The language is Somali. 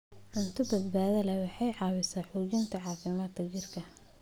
Cunto badbaado leh waxay caawisaa xoojinta caafimaadka jidhka.